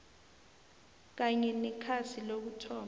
kanye nekhasi lokuthoma